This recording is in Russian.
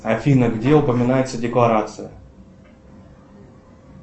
афина где упоминается декларация